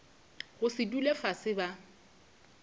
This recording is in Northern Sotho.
go se dule fase ba